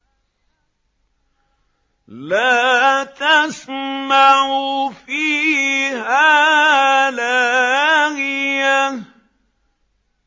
لَّا تَسْمَعُ فِيهَا لَاغِيَةً